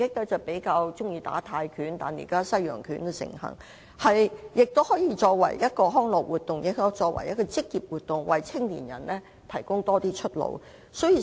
往日比較流行泰拳，但現在西洋拳也相當盛行，而拳擊除可作為康樂活動外，亦可作為一項職業，為年青人提供更多出路。